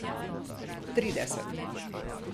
Trideset.